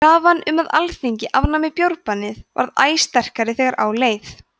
krafan um að alþingi afnæmi bjórbannið varð æ sterkari þegar á leið